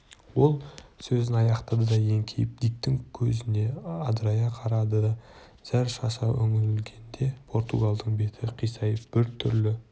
ол сөзін аяқтады да еңкейіп диктің көзіне адырая қарады зәр шаша үңілгенде португалдың беті қисайып біртүрлі